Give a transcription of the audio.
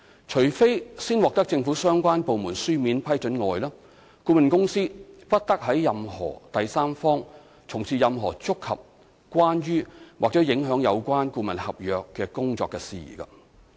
除非事先已獲政府相關部門書面批准外，顧問公司不得為任何第三方從事任何觸及、關於或影響有關顧問合約工作的事宜。